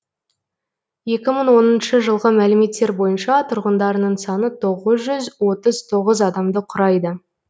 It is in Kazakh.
екі мың оныншы жылғы мәліметтер бойынша тұрғындарының саны тоғыз жүз отыз тоғыз адамды құрайды